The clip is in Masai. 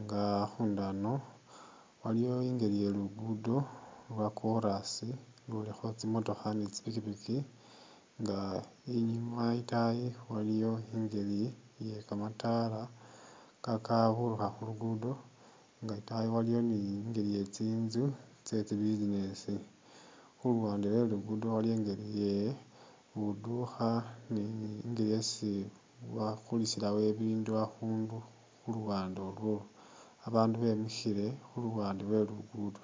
nga a'khundu ano waliwo i'ngeli ye lugudo lwa korasi lulikho tsimotookha ni tsipikipiki nga inyuma i'taayi waliwo i'ngeli iye kamataala kakaburukha khulugudo nga e'taayi waliyo ni i'ngeli ye tsi'nzu tsetsi business khuluwande lwelugudo waliyo e'ngele ye budukha ni i'ngila esi bakulisilawo e'bindu a'khundu khuluwande olwolo, babandu bemikhile khuluwande lwelugudo